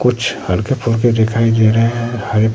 कुछ हल्के फुल्के दिखाई दे रहे हैं हरे--